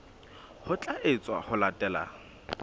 ho tla etswa ho latela